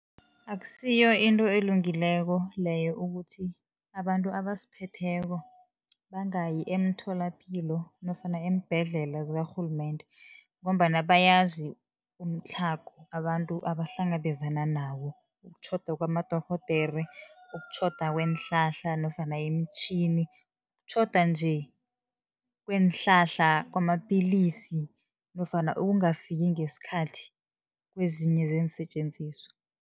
Akusiyo into elungileko leyo ukuthi abantu abasiphetheko, bangayi emtholapilo nofana eembhedlela zikarhulumende. Ngombana bayazi umtlhago abantu abahlangabezana nawo, ukutjhoda kwamadorhodere, ukutjhoda kweenhlahla nofana imitjhini, kutjhoda nje kweenhlahla kwamapillisi nofana ukungafiki ngesikhathi kwezinye zeensetjenziswa.